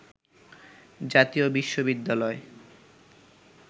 “জাতীয় বিশ্ববিদ্যালয়